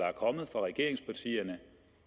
er kommet fra regeringspartierne